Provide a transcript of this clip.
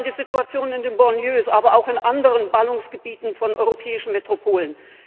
Ich denke hier an die Situation in den Banlieues, aber auch in anderen Ballungsgebieten von europäischen Metropolen.